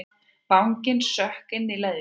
Vanginn sökk inn í leðjuna.